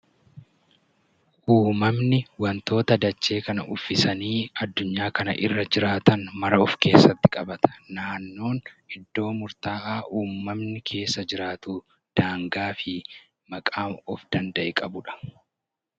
Uumamni wantoota dachee kana uffisanii addunyaa kana irra jiraatan mara of keessatti qabata. Naannoon iddoo murtaa'aa uumamni keessa jiraatu daangaa fi maqaa of danda'e qabudha.